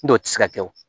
N'o tɛ se ka kɛ o